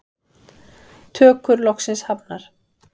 Tökur loksins hafnar